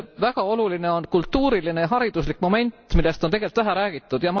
Väga oluline on kultuuriline ja hariduslik moment, millest on vähe räägitud.